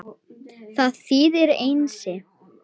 Það þýðir Einsi.